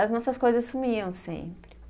As nossas coisas sumiam sempre.